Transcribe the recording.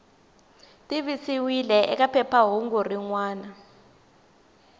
tivisiwile eka phephahungu rin wana